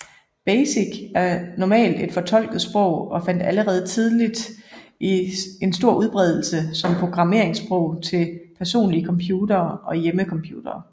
BASIC er normalt et fortolket sprog og fandt allerede tidligt en stor udbredelse som programmeringssprog til personlige computere og hjemmecomputere